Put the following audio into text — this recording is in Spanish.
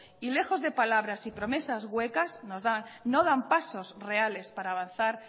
y lejos de palabras y promesas huecas que nos da no dan pasos reales para avanzar